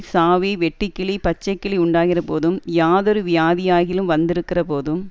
சாவி வெட்டுக்கிளி பச்சைக்கிளி உண்டாகிறபோதும் யாதொரு வியாதியாகிலும் வந்திருக்கிறபோதும்